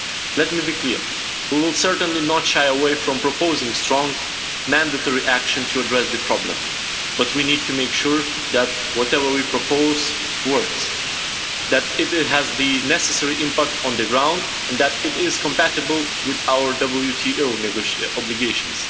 Let me be clear, we will certainly not shy away from proposing strong mandatory action to address the problem, but we need to make sure that whatever we propose works, that it has the necessary impact on the ground and that it is compatible with our WTO obligations.